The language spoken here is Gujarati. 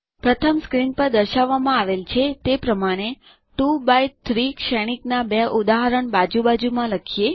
પ્રથમ સ્ક્રીન પર દર્શાવવામાં આવેલ છે તે પ્રમાણે 2એક્સ3 શ્રેણીકના બે ઉદાહરણ બાજુ બાજુમાં લખીએ